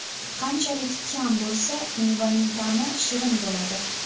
Qanchalik kam bo‘lsa, mevaning ta’mi shirin bo‘ladi.